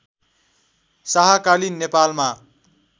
शाहकालीन नेपालमा